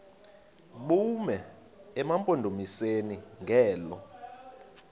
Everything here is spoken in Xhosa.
bume emampondomiseni ngelo